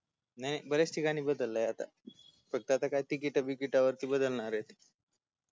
नाही ब-याच ठिकाणी बदललय आता फक्त आता काय तिकिटा बिकीटावरती बदलयणारयत